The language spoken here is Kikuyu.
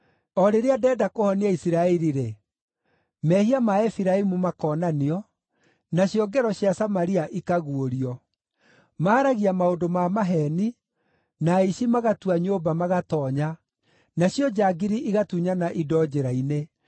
o rĩrĩa ndenda kũhonia Isiraeli-rĩ, mehia ma Efiraimu makonanio, nacio ngero cia Samaria ikaguũrio. Maaragia maũndũ ma maheeni, na aici magatua nyũmba, magatoonya, nacio njangiri igatunyana indo njĩra-inĩ;